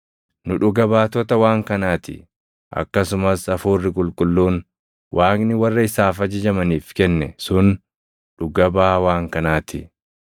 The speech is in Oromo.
Nu dhuga baatota waan kanaa ti; akkasumas Hafuurri Qulqulluun Waaqni warra isaaf ajajamaniif kenne sun dhuga baʼaa waan kanaa ti.”